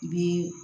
I bɛ